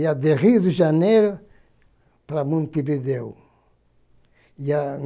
Ia de Rio de Janeiro para Montevideo. E a